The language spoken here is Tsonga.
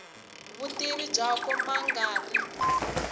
vutivi byakwe ma nga ri